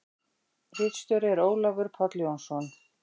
Ritstjóri er Ólafur Páll Jónsson.